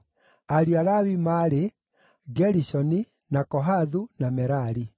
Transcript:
Ariũ a Lawi maarĩ: Gerishoni, na Kohathu, na Merari.